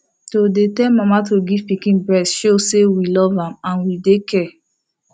to dey tell mama to give pikin breast show say we love am and we dey care